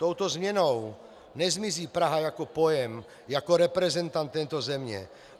Touto změnou nezmizí Praha jako pojem, jako reprezentant této země.